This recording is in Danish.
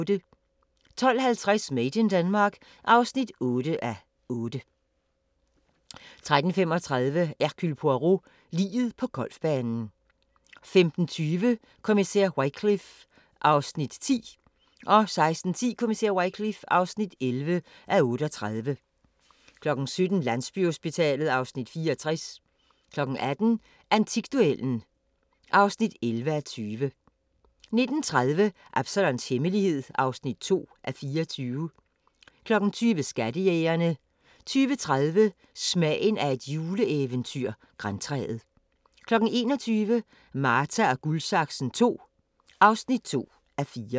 12:50: Made in Denmark (8:8) 13:35: Hercule Poirot: Liget på golfbanen 15:20: Kommissær Wycliffe (10:38) 16:10: Kommissær Wycliffe (11:38) 17:00: Landsbyhospitalet (Afs. 64) 18:00: Antikduellen (11:20) 19:30: Absalons Hemmelighed (2:24) 20:00: Skattejægerne 20:30: Smagen af et juleeventyr – Grantræet 21:00: Marta & Guldsaksen II (2:4)